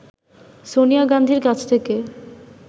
সোনিয়া গান্ধীর কাছ থেকে